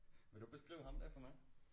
Vil du beskrive ham der for mig